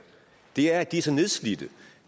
det er at de er så nedslidte